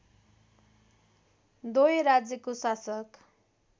डोय राज्यको शासक